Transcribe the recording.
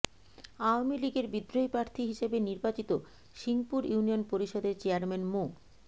আওয়ামী লীগের বিদ্রোহী প্রার্থী হিসেবে নির্বাচিত সিংপুর ইউনিয়ন পরিষদের চেয়ারম্যান মো